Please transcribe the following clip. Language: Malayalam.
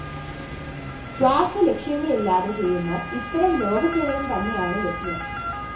സ്വാര്‍ത്ഥ ലക്ഷ്യങ്ങളില്ലാതെ ചെയ്യുന്ന ഇത്തരം ലോകസേവനംതന്നെയാണ് യജ്ഞം